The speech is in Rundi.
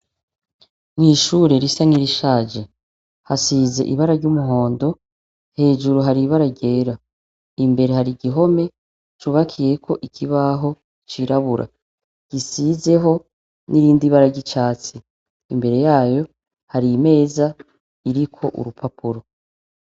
N'ishure risa nirishaje. Hasize ibara ry'umuhondo. Hejuru hari ibara ryera. Imbere hari igihome cubakiyeko ikibaho cirabura gisizeho n'irindi bara ry'icatsi. Imbere yayo hari hari imeza iriko urupapuro.